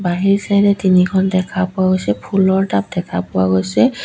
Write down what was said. বাহিৰ চাইদে তিনিখন দেখা পোৱা গৈছে ফুলৰ টাব দেখা পোৱা গৈছে।